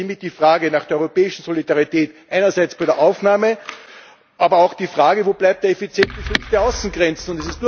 Es stellt sich hiermit die Frage nach der europäischen Solidarität einerseits bei der Aufnahme, aber auch die Frage Wo bleibt der effiziente Schutz der Außengrenzen?